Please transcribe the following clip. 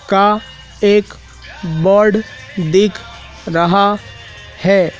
का एक बोर्ड दिख रहा है।